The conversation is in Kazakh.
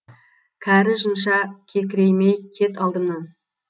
кәрі жынша кекіреймей кет алдымнан